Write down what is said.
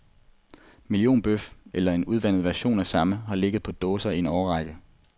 Millionbøf, eller en udvandet version af samme, har ligget på dåser i en årrække.